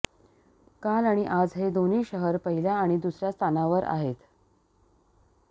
काल आणि आज हे दोन्ही शहरं पहिल्या आणि दुसऱ्या स्थानावर आहेत